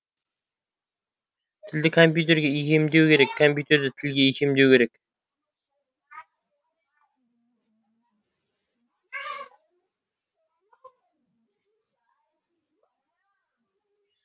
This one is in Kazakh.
тілді компьютерге икемдемеу керек компьютерді тілге икемдеу керек